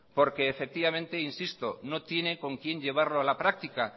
porque efectivamente e insisto no tiene con quién llevarlo a la práctica